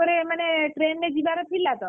ମାନେ train ରେ ଯିବାର ଥିଲା ତ,